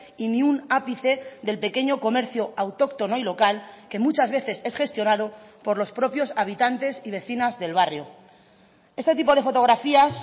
y ni un ápice del pequeño comercio autóctono y local que muchas veces es gestionado por los propios habitantes y vecinas del barrio este tipo de fotografías